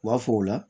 U b'a fɔ o la